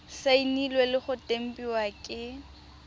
saenilwe le go tempiwa ke